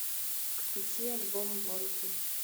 включи альбом вонки